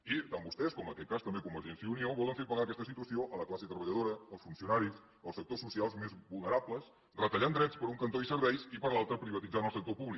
i tant vostès com en aquest cas també convergència i unió volen fer pagar aquesta situació a la classe treballadora als funcionaris als sectors socials més vulnerables retallant drets per un cantó i serveis i per l’altre privatitzant el sector públic